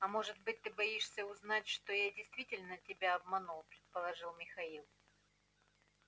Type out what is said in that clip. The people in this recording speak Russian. а может быть ты боишься узнать что я действительно тебя обманул предположил михаил